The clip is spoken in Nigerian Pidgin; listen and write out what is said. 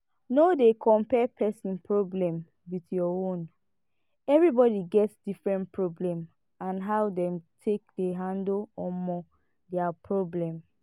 no dey compare person problem with your own everybody get different problem and how dem take dey handle um their problem